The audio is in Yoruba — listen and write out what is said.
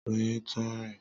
Ọmọ Doyin tun rìn.